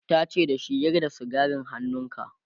tace da shi"Yar da sigarin hannunka!'